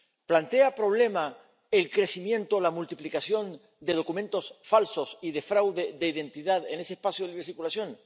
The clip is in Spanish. ¿Plantea problemas el crecimiento, la multiplicación de documentos falsos y de fraude de identidad en ese espacio de libre circulación?